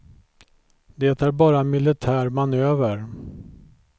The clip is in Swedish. Det är bara en militär manöver.